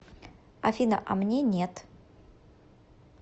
афина а мне нет